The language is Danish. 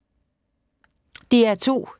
DR2